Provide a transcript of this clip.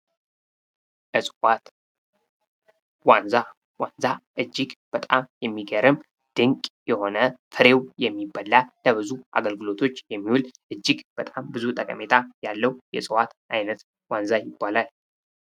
እፅዋት ዋንዛ። ዋንዛ እጅግ በጣም የሚገርም ፍሬው የሚበላ ለብዙ አገልግሎቶች የሚውል እጅግ በጣም ብዙ ጠቀሜታ ያለው የእጽዋት አይነት ዋንዛ ይባላል።